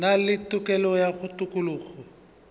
na le tokelo ya tokologo